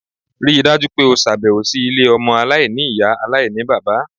Ríi dájú pé o ṣàbẹ̀wò sí ilé ọmọ aláìní-Ìyá aláìní-bàbá.!